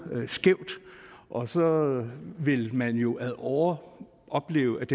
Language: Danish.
skævt og så vil man jo ad åre opleve